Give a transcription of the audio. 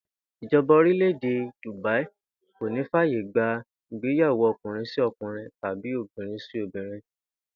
Ìjo̩ba orílè̩-èdè Dùbáí kò ní fàyè gba ìgbéyàwó o̩kùnrin-sí-o̩kùnrin tàbí obìnrin-sí-obìnrin